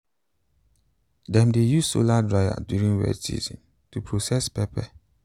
dem dey use solar dryer during wet season to process pepper.